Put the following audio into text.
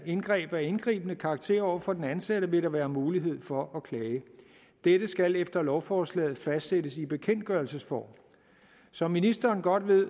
indgreb af indgribende karakter over for den ansatte vil være mulighed for at klage dette skal efter lovforslaget fastsættes i bekendtgørelsesform som ministeren godt ved